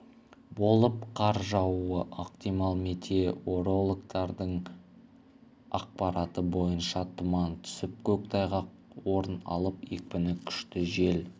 болып қар жаууы ықтимал метеорологтардың ақпараты бойынша тұман түсіп көктайғақ орын алып екпіні күшті жел